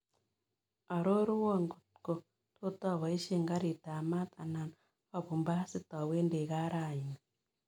Arorwon kotko tot aboisien gariitab maat anan abun basit awendi gaa raini